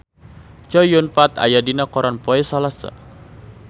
Chow Yun Fat aya dina koran poe Salasa